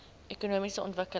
ekonomiese ontwikkeling